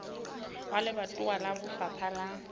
wa lebatowa wa lefapha la